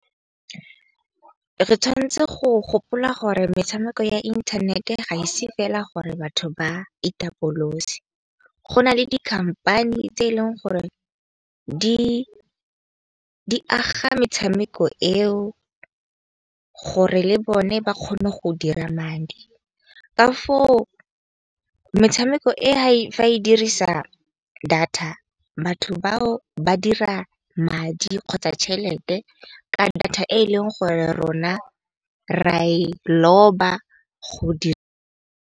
Re tshwanetse go gopola gore metshameko ya inthanete ga ise fela gore batho ba itapolose. Go nale di-company-e tse eleng gore di aga metshameko eo gore le bone ba kgone go dira madi. Ka foo metshameko e hae dirisa data batho bao ba dira madi kgotsa tšhelete ka data e e leng go rona ra e loba .